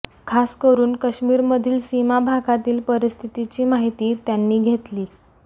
खास करून काश्मीरमधील सीमा भागातील परिस्थितीची माहिती त्यांनी घेतली